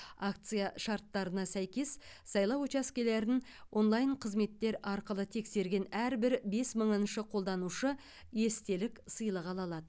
акция шарттарына сәйкес сайлау учаскелерін онлайн қызметтер арқылы тексерген әрбір бес мыңыншы қолданушы естелік сыйлық ала алады